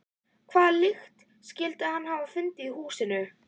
Hvaða lykt skyldi hann hafa fundið í húsinu?